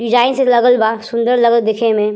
Design से लगल बा। सुन्दर लगल देखे में।